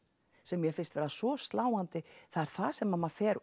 sem mér finnst vera svo sláandi það er það sem maður fer